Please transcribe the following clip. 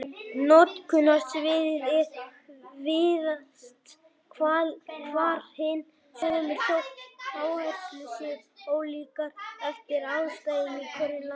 Notkunarsviðin eru víðast hvar hin sömu þótt áherslur séu ólíkar eftir aðstæðum í hverju landi.